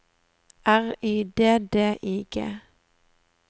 R Y D D I G